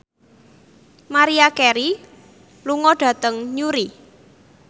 Maria Carey lunga dhateng Newry